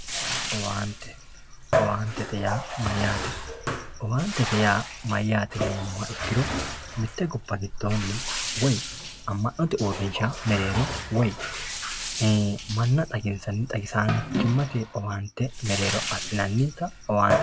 owaante owaantete yaa mayyaate yinummoha ikkiro mitte gobba giddoonni woy amma'note uurinshsha mereero woy manna xaginsanni xagisaanchimmate owaante mereero assinannita owaantete yinanni